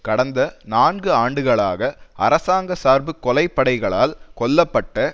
கடந்த நான்கு ஆண்டுகளாக அரசாங்க சார்பு கொலை படைகளால் கொல்ல பட்ட